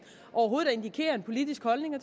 overhovedet at indikere en politisk holdning og